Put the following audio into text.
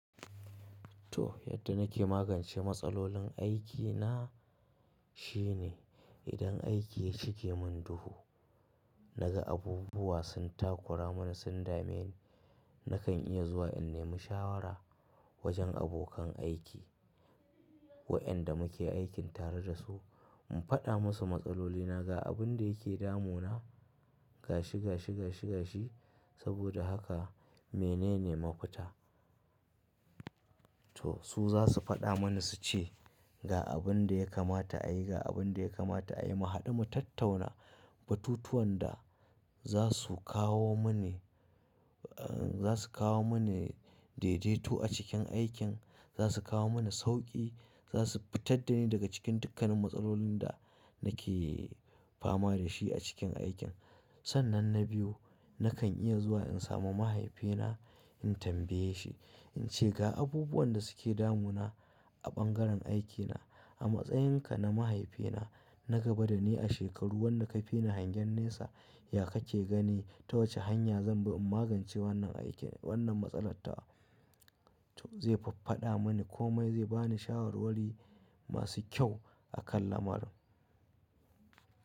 To, yadda nake magance matsalolin aikina shine idan aiki ya cike mun duhu, na ga abubuwa sun takura mana, sun dame ni, na kan iya zuwa in nemi shawara wajen abokan aiki waƴanda muke aikin tare da su. In faɗa musu matsalolina, ga abin da yake damu na gashi, gashi, gashi, gashi. Saboda haka menene mafuta? To su za su faɗa mani su ce ga abin da ya kamata a yi, ga abin da ya kamata a yi. Mu haɗu mu tattauna batutuwan da za su kawo mani, za su kawo mani daidaito a cikin aikin, za su kawo mani sauƙi, za su fitar da ni daga cikin dukkanin matsalolin da nake fama da shi a cikin aikin. Sannan na biyu, na kan iya zuwa in samu mahaifina in tambaye shi in ce ga abubuwan da suke damu na a bangaren aikina. A matsayinka na mahaifina na gaba da ni a shekaru, wanda ka fi ni hangen nesa, ya ka ke gani? Ta wace hanya zan bi in magance wannan aiki wannan matsalar ta? To zai faffaɗa mani komai zai bani shawarwari masu kyau a kan lamarin.